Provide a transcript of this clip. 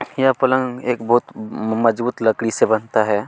यह पलंग बहुत मजबूत लकड़ी से बनता है।